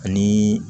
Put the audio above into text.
Ani